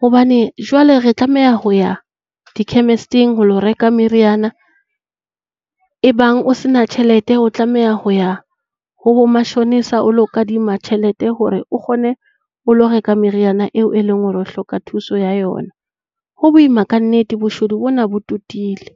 hobane jwale re tlameha ho ya di-chemist-ing ho ilo reka meriana. Ebang o se na tjhelete, o tlameha ho ya ho bomashonisa o ilo kadima tjhelete hore o kgone ho ilo reka meriana eo e leng hore o hloka thuso ya yona. Ho boima ka nnete. Boshodu bona bo totile.